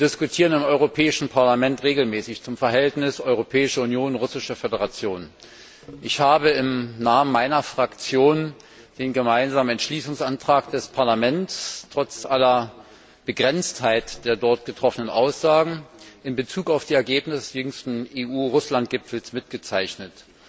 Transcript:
Wir diskutieren im Europäischen Parlament regelmäßig über das Verhältnis zwischen der Europäischen Union und der Russischen Föderation. Ich habe im Namen meiner Fraktion den gemeinsamen Entschließungsantrag des Parlaments trotz aller Begrenztheit der dort getroffenen Aussagen in Bezug auf die Ergebnisse des jüngsten EU Russland Gipfels mitgezeichnet.